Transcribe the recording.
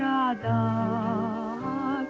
að